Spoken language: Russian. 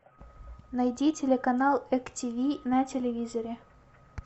найди телеканал эк тв на телевизоре